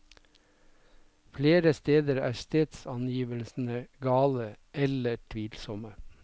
Flere steder er stedsangivelsene gale, eller tvilsomme.